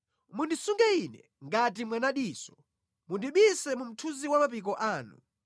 Mundisunge ine ngati mwanadiso; mundibise mu mthunzi wa mapiko anu,